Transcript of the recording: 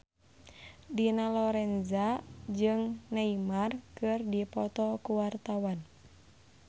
Dina Lorenza jeung Neymar keur dipoto ku wartawan